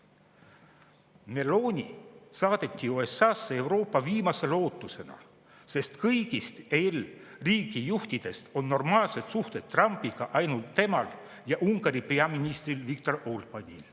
Meloni saadeti USA-sse Euroopa viimase lootusena, sest kõigist EL-i riigijuhtidest on normaalsed suhted Trumpiga ainult temal ja Ungari peaministril Viktor Orbánil.